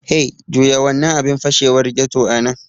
Hey, juya wannan abin fashewar ghetto a nan!